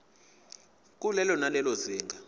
kulelo nalelo zinga